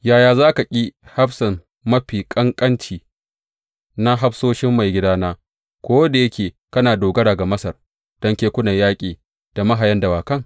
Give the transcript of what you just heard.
Yaya za ka ƙi hafsan mafi ƙanƙanci na hafsoshin maigidana, ko da yake kana dogara ga Masar don kekunan yaƙi da mahayan dawakai?